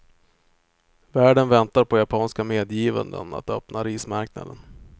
Världen väntar på japanska medgivanden att öppna rismarknaden.